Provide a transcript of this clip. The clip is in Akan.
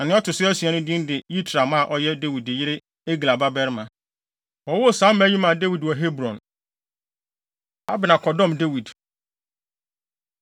Na nea ɔto so asia no din de Yitream a ɔyɛ Dawid yere Egla babarima. Wɔwoo saa mma yi maa Dawid wɔ Hebron. Abner Kɔdɔm Dawid